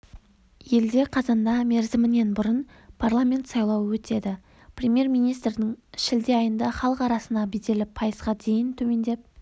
елде қазанда мерзімінен бұрын парламент сайлауы өтеді премьер-министрдің шілде айында халық арасындағы беделі пайызға дейін төмендеп